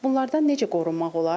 Bunlardan necə qorunmaq olar?